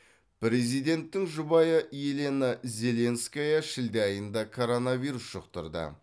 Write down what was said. президенттің жұбайы елена зеленская шілде айында коронавирус жұқтырды